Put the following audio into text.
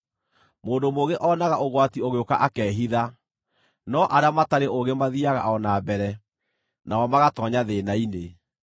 Mũndũ mũũgĩ oonaga ũgwati ũgĩũka akehitha, no arĩa matarĩ ũũgĩ mathiiaga o na mbere, nao magatoonya thĩĩna-inĩ.